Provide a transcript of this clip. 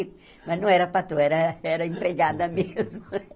Mas não era patroa, era era a empregada mesmo.